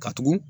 Ka tugun